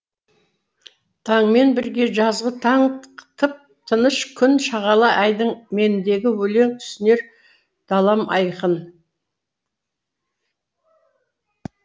таңмен бірге жазғы таң тып тыныш күн шағала айдын мендегі өлең түсінер далам айқын